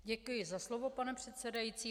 Děkuji za slovo, pane předsedající.